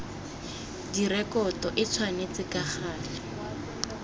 direkoto e tshwanetse ka gale